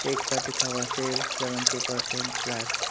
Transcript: एक पर लिखा हुआ सेल सेवेंटी पर्सेंट फ्लैट ।